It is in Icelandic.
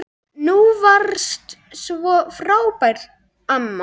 Þú varst svo frábær amma.